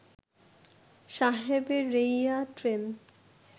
সাহেরেঈয়া train